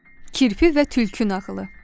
Kirpi və tülkü nağılı.